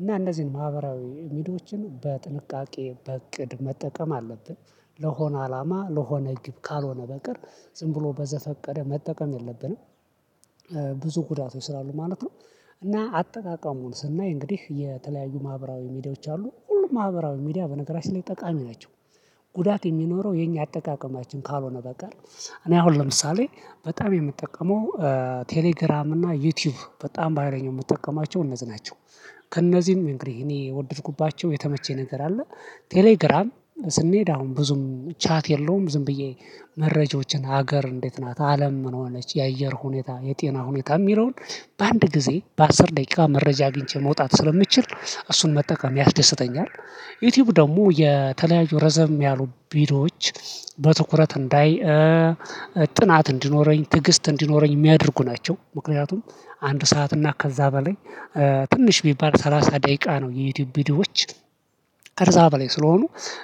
እና እንደዚህ ነው ማህበራዊ ሚዲያዎችን በጥንቃቄ በእቅድ መጠቀም አለብን ለሆነ አላማ ለሆነ ግብ ካልሆነ በቀር ዝም ብሎ በዘፈቀደ መጠቀም የለብንም ብዙ ጉዳት ወይ ስራሉ ማለት ነው እና አጠቃቀሙን ስናይ እንግዲህ የተለያዩ ማህበራዊ ሚዲያዎች አሉ ሁሉም ማህበራዊ ሚዲያ በነገራችን ላይ ጠቃሚ ናቸው። ጉዳት የሚኖረው የኛ አጠቃቀማችን ካልሆነ በቀር እኔ አሁን ለምሳሌ በጣም የምጠቀመው ቴሌግራም እና ዩቲዩብ በጣም ባሃይለኛው የምጠቀማቸው እነዚህ ናቸው። ከእነዚህም እንግዲህ እኔ የወደድኩባቸው የተመቸኝ ነገር አለ ቴሌግራም ስንሄድ አሁን ብዙም ቻት የለውም ዝም ብዬ መረጃዎችን ሀገር እንዴት ናት አለም ምን ዋለች የአየር ሁኔታ የጤና ሁኔታ የሚለውን በአንድ ጊዜ በአስር ደቂቃ መረጃ አግኝቼ መውጣት ስለሚችል እሱን መጠቀም ያስደስተኛል ዩቲዩብ ደግሞ የተለያዩ ረዘም ያሉ ቪዲዮዎች በትኩረት እንዳይ ጥናት እንዲኖረኝ ትዕግስት እንዲኖረኝ የሚያደርጉ ናቸው። ምክንያቱም አንድ ሰዓት እና ከዛ በላይ ትንሽ ቢባል ሰላሳ ደቂቃ ነው የዩቲዩብ ቪዲዮዎች ከዛ በላይ ስለሆኑ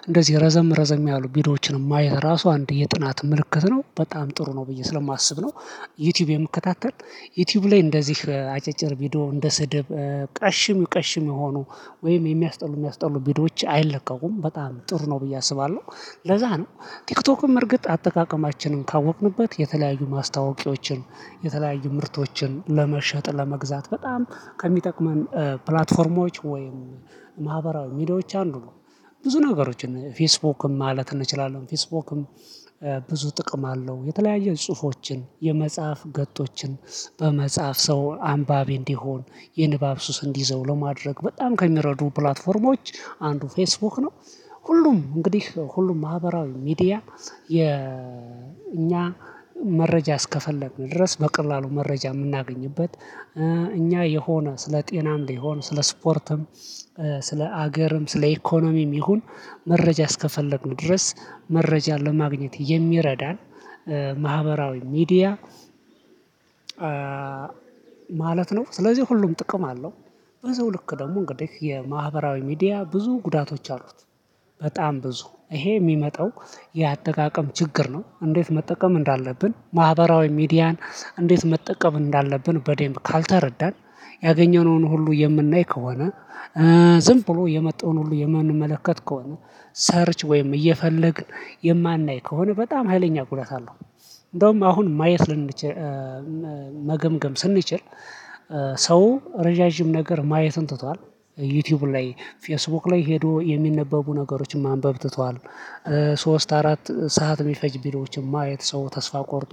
እንደዚህ ረዘም ረዘም ያሉ ቪዲዮዎችን ማየት ራሱ አንድ የጥናት ምልክት ነው። በጣም ጥሩ ነው ብዬ ስለማስብ ነው ዩቲዩብ የምከታተል ዩቲዩብ ላይ እንደዚህ አጫጭር ቪዲዮ እንደ ስድብ ቀሽም ቀሽም የሆኑ ወይም የሚያስጠሉ የሚያስጠሉ ቪዲዮዎች አይለቀቁም በጣም ጥሩ ነው ብዬ አስባለዉ። ለዛ ነው ቲክቶክም በእርግጥ አጠቃቀማችንን ካወቅንበት የተለያዩ ማስታወቂያዎችን የተለያዩ ምርቶችን ለመሸጥ ለመግዛት በጣም ከሚጠቅመን ፕላትፎርሞች ወይም ማህበራዊ ሚዲያዎች አንዱ ነው ብዙ ነገሮችን ፌስቡክም ማለት እንችላለን ፌስቡክም ብዙ ጥቅም አለው የተለያየ ጽሁፎችን የመጽሐፍ ገጦችን በመጽሐፍ ሰው አንባቢ እንዲሆን የንባብ ሱስ እንዲይዘው ለማድረግ በጣም ከሚረዱ ፕላትፎርሞች አንዱ ፌስቡክ ነው። ሁሉም እንግዲህ ሁሉም ማህበራዊ ሚዲያ የኛ መረጃ እስከፈለግን ድረስ በቀላሉ መረጃ የምናገኝበት እኛ የሆነ ስለ ጤናም ሊሆን ስለ ስፖርትም ስለ ሀገርም ስለ ኢኮኖሚም ይሁን መረጃ እስከፈለግን ድረስ መረጃን ለማግኘት የሚረዳን ማህበራዊ ሚዲያ ማለት ነው ስለዚህ ሁሉም ጥቅም አለው። ብዙ ልክ ደግሞ እንግዲህ የማህበራዊ ሚዲያ ብዙ ጉዳቶች አሉት። በጣም ብዙ ይሄ የሚመጣው የአጠቃቀም ችግር ነው ፈ። እንዴት መጠቀም እንዳለብን ማህበራዊ ሚዲያን እንዴት መጠቀም እንዳለብን በደምብ ካልተረዳን ያገኘነውን ሁሉ የምናይ ከሆነ ዝም ብሎ የመጣውን ሁሉ የምንመለከት ከሆነ ሰርች ወይም እየፈለግ የማናይ ከሆነ በጣም ሀይለኛ ጉዳት አለው እንደውም አሁን ማየት ልንችል መገምገም ስንችል ሰው ረዣዥም ነገር ማየቱን ትቷል ዩቲዩብ ላይ ፌስቡክ ላይ ሄዶ የሚነበቡ ነገሮችን ማንበብ ትቷል ሶስት አራት ሰዓት የሚፈጅ ቪዶዎችን ማየት ሰው ተስፋ ቆርጦ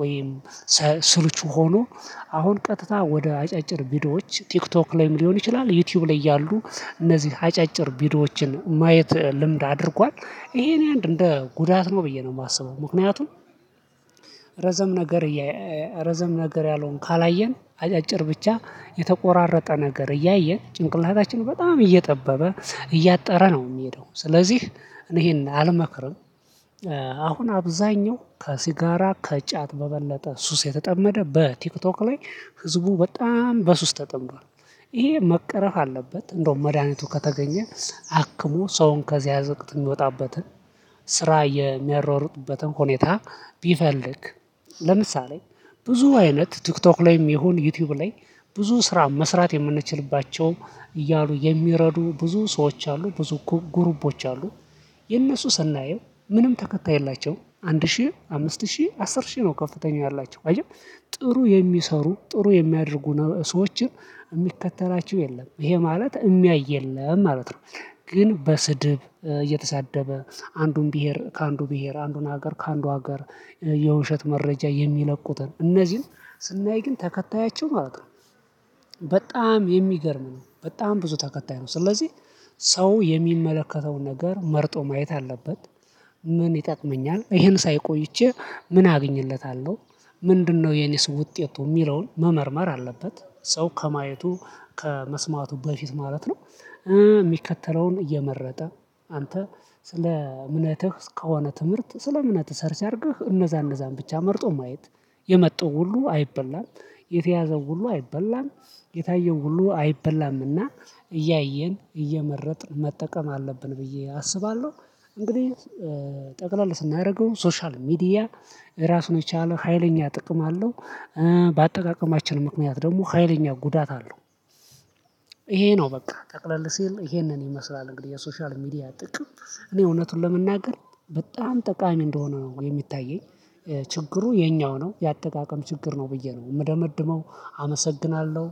ወይም ስልቹ ሆኖ አሁን ቀጥታ ወደ አጫጭር ቪዲዮዎች ቲክቶክ ላይም ሊሆን ይችላል ዩቲዩብ ላይ ያሉ እነዚህ አጫጭር ቪዲዮዎችን ማየት ልምድ አድርጓል ይሄን አንድ እንደ ጉዳት ነው ብዬ ነው የማስበው ምክንያቱም ረዘም ነገር ረዘም ነገር ያልሆን ካላየን አጫጭር ብቻ የተቆራረጠ ነገር እያየን ጭንቅላታችንን በጣም እየጠበበ እያጠረ ነው የሚሄደው ስለዚህ እኔ ይሄንን አልመክርም አሁን አብዛኛው ከሲጋራ ከጫት በበለጠ ሱስ የተጠመደ በቲክቶክ ላይ ህዝቡ በጣም በሱስ ውስጥ ተጠምዷል ይሄ መቀረፍ አለበት እንደውም መድሃኒቱ ከተገኘ አክሞ ሰውን ከዚያ ዝቅት የሚወጣበትን ስራ የሚያሯሯጡበትን ሁኔታ ቢፈልግ ለምሳሌ ብዙ አይነት ቲክቶክ ላይም ይሁን ዩቲዩብ ላይ ብዙ ስራ መስራት የምንችልባቸው እያሉ የሚረዱ ብዙ ሰዎች አሉ ብዙ ጉሩፖች አሉ። የነሱ ሰናየው ምንም ተከታይ የላቸውም አንድ ሺህ አምስት ሺህ አስር ሺህ ነው ከፍተኛ ያላቸው አይደል ጥሩ የሚሰሩ ጥሩ የሚያደርጉ ሰዎችን የሚከተላቸው የለም ይሄ ማለት የሚያይ የለም ማለት ነው። ግን በስድብ እየተሳደበ አንዱን ብሄር ከአንዱ ብሄር አንዱን ሀገር ከአንዱ ሀገር የውሸት መረጃ የሚለቁትን እነዚህን ስናይ ግን ተከታያቸው ማለት ነው በጣም የሚገርም ነው በጣም ብዙ ተከታይ ነው ስለዚህ ሰው የሚመለከተውን ነገር መርጦ ማየት አለበት። ምን ይጠቅመኛል ይሄን ሳይ ቆይቼ ምን አግኝለታለው ምንድነው የኔስ ውጤቱ ምለውን መመርመር አለበት። ሰው ከማየቱ ከመስማቱ በፊት ማለት ነው የሚከተለውን እየመረጠ አንተ ስለ አምነትህ እስከሆነ ትምህርት ስለ አምነትህ ሰር ሲያደርግህ እነዛ እነዛን ብቻ መርጦ ማየት የመጡ ሁሉ አይበላም የተያዘው ሁሉ አይበላም የታየው ሁሉ አይበላምና እያየን እየመረጥን መጠቀም አለብን ብዬ አስባለው። እንግዲህ ጠቅላላ ስናደርገው ሶሻል ሚዲያ ራሱን የቻለው ሀይለኛ ጥቅም አለው በአጠቃቀማችን ምክንያት ደግሞ ሀይለኛ ጉዳት አለው ይሄ ነው በቃ ጠቅለል ሲል ይሄንን ይመስላል እንግዲህ የሶሻል ሚዲያ ጥቅም እኔ እውነቱን ለመናገር በጣም ጠቃሚ እንደሆነ ነው የሚታየኝ ችግሩ የኛው ነው የአጠቃቀም ችግር ነው ብዬ ነው የምደመድመው አመሰግናለው።